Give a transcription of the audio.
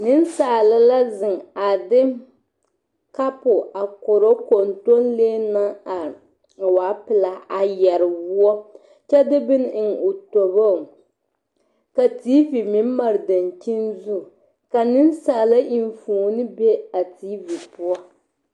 Nensaala la a zeŋ a de kabo korɔ kontonlee naŋ are a waa pelaaa yɛrɛ woɔ kyɛ de bone eŋ o toboŋ ka TV meŋ made dankyeniŋ ka nensaala enfuoni be a TV poɔ